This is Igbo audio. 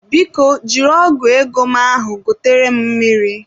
Biko jiri ọgu ego m ahụ gotere m mmiri.